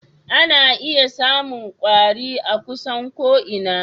Ana iya samun kwari a kusan ko'ina.